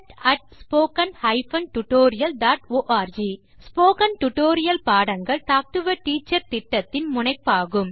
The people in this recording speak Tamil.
contact spoken hyphen tutorial dot org spoken tutorial பாடங்கள் டாக் டு எ டீச்சர் திட்டத்தின் முனைப்பாகும்